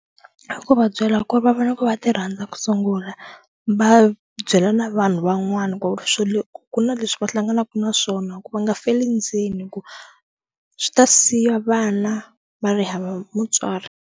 I ku va byela ku ri va vona ku va ti rhandza ku sungula va byela na vanhu van'wana ku ri swilo ku na leswi va hlanganaka na swona ku va nga feli ndzeni hi ku swi ta siya vana va ri hava mutswari.